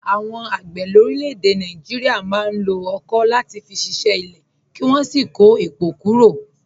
Àwọn àgbẹ̀ lórílẹ̀-èdè Nàìjíríà máa ń lo ọ̀kọ̀ láti fi ṣiṣẹ́ ilẹ̀, kí wọ́n sì kó èpò kúrò.